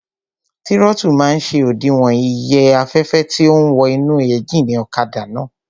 Tírótù máa n ṣe òdiwọ̀n iye afẹ́fẹ́ tó ún wọ inú éjìnì ọ̀kadà náà